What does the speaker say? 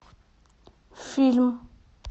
фильм